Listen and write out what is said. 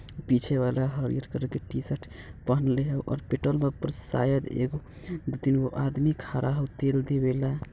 पीछे वाला हरियर कलर के टी-शर्ट पहनले हाउ और पेट्रोल पंप पर शायद एगो दू-तीन गो आदमी खड़ा हाउ तेल देवे ले।